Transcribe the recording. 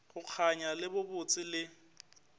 go kganya le bobotse le